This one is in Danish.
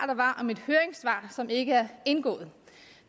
der var om et høringssvar som ikke er indgået